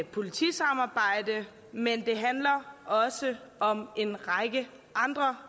politisamarbejde men det handler også om en række andre